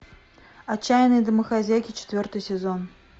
отчаянные домохозяйки четвертый сезон